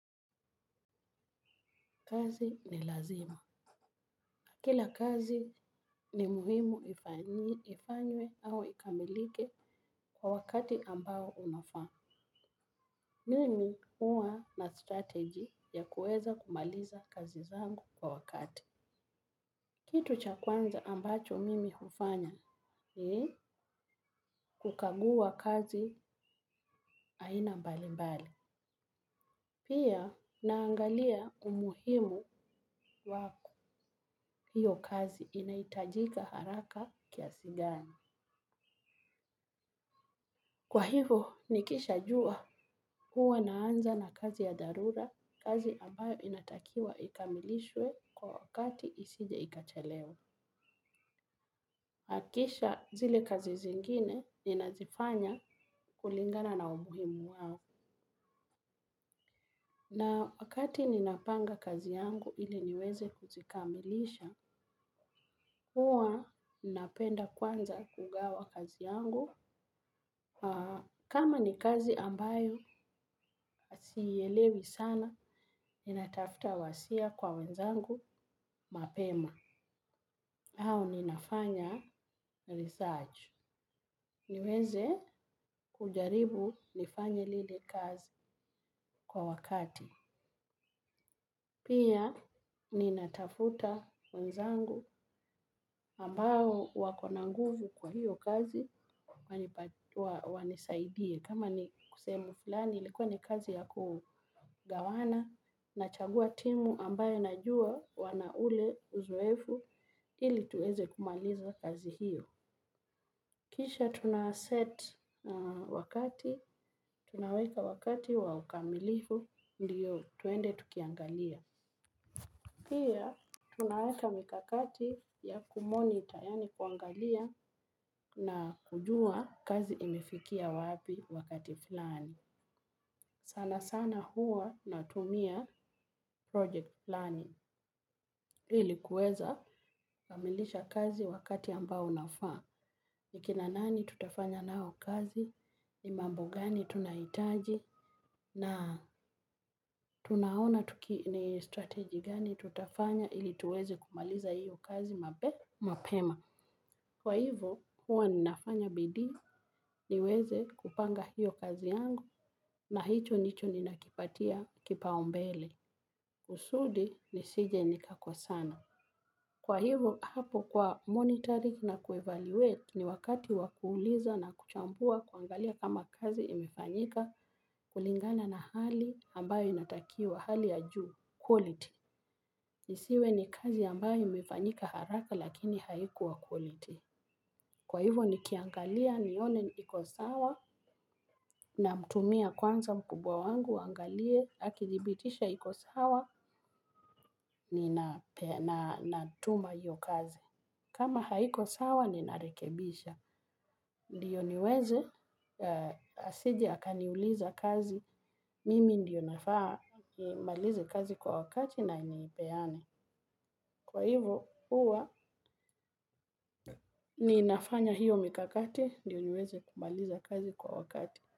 Kazi ni lazima. Kila kazi ni muhimu ifanywe au ikamilike kwa wakati ambao unafaa. Mimi huwa na strategy ya kueza kumaliza kazi zangu kwa wakati. Kitu cha kwanza ambacho mimi hufanya ni kukagua kazi aina mbali mbali. Pia naangalia umuhimu wa hiyo kazi inahitajika haraka kiasi gani. Kwa hivo, nikisha jua huwa naanza na kazi ya dharura, kazi ambayo inatakiwa ikamilishwe kwa wakati isije ikachelewa. Na kisha zile kazi zingine ninazifanya kulingana na umuhimu wake. Na wakati ninapanga kazi yangu ili niweze kuzikamilisha, huwa napenda kwanza kugawa kazi yangu. Kama ni kazi ambayo siyielewi sana, ni natafuta wasia kwa wenzangu mapema au ninafanya research niweze kujaribu nifanye lili kazi kwa wakati. Pia ninatafuta wanzangu ambao wako na nguvu kwa hiyo kazi wanisaidie. Kama ni sehemu fulani likuwa ni kazi ya kugawana nachagua timu ambayo najua wana ule uzoefu ili tuweze kumaliza kazi hiyo. Kisha tuna set wakati, tunaweka wakati wa ukamilifu ndiyo twende tukiangalia. Pia, tunaweka mikakati ya ku moniter, yaani kuangalia na kujua kazi imefikia wapi wakati fulani. Sana sana huwa natumia project planning ili kuweza kukamilisha kazi wakati ambao unafaa. Ni kina nani tutafanya nao kazi, ni mambo gani tunahitaji, na tunaona tuki ni strategy gani tutafanya ili tuweze kumaliza hiyo kazi mapema. Kwa hivu, huwa ninafanya bidii niweze kupanga hiyo kazi yangu na hicho ndicho ninakipatia kipaumbele. Kusudi nisije nikakosana. Kwa hivo, hapo kwa monitoring na ku evaluate ni wakati wa kuuliza na kuchambua kuangalia kama kazi imefanyika. Kulingana na hali ambayo inatakiwa hali ya juu, quality. Isiwe ni kazi ambayo imefanyika haraka lakini haikuwa quality. Kwa hivyo nikiangalia nione iko sawa namtumia kwanza mkubwa wangu aangalie akihiibitisha iko sawa ninatuma hiyo kazi. Kama haiko sawa ninarekebisha. Ndio niweze asije akaniuliza kazi. Mimi ndio nafaa nimalize kazi kwa haraka na naipeana. Kwa hivo huwa ninafanya hiyo mikakati, ndiyo niweze kumaliza kazi kwa wakati.